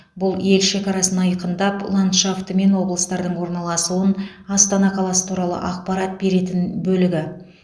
бұл ел шекарасын айқындап ландшафты мен облыстардың орналасуын астана қаласы туралы ақпарат беретін бөлігі